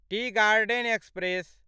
T garden express